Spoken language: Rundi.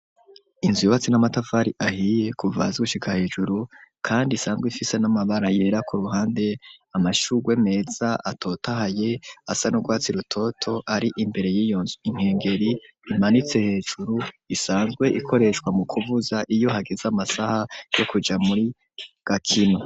Inzu yubatse n'amatafari ahiye kuvazgushika hejuru kandi isanzwe ifise n'amabara yera ku ruhande amashuwe meza atotohaye asa n'urwatsi rutoto ari imbere y'iyonzu inkengeri imanitse hejuru isanzwe ikoreshwa mu kuvuza iyo hageze amasaha yo kuja muri gakino.